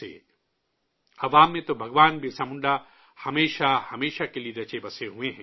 عام لوگوں میں تو بھگوان برسا منڈا ہمیشہ کے لیے رچے بسے ہوئے ہیں